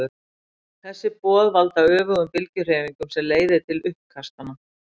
Þessi boð valda öfugum bylgjuhreyfingunum sem leiða til uppkastanna.